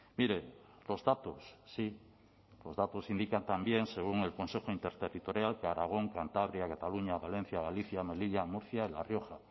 mire los datos sí los datos indican también según el consejo interterritorial de aragón cantabria cataluña valencia galicia melilla murcia la rioja